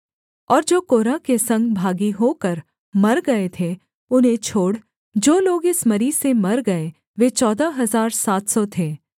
और जो कोरह के संग भागी होकर मर गए थे उन्हें छोड़ जो लोग इस मरी से मर गए वे चौदह हजार सात सौ थे